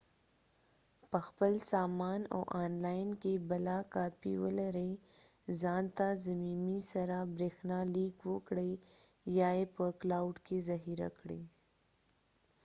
په خپل سامان او آن لاین کې بله کاپي ولرئ ځان ته ضمیمي سره بريښنا ليک وکړئ ، یا یې په کلاؤډ کې ذخیره کړئ